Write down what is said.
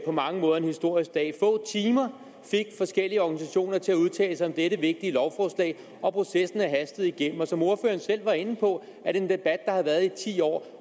mange måder en historisk dag få timer fik forskellige organisationer til at udtale sig om dette vigtige lovforslag og processen er blevet hastet igennem som ordføreren selv var inde på er det en debat der har været i ti år